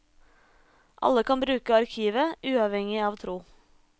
Alle kan bruke arkivet, uavhengig av tro.